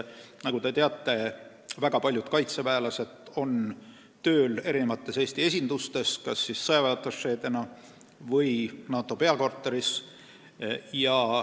Nagu te teate, väga paljud kaitseväelased on tööl Eesti eri esindustes, kas sõjaväeatašeena või NATO peakorteris.